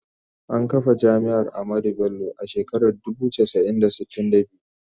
An kafa Jami’ar Ahmadu Bello a shekarar dubu casa'i da sitin da biyu.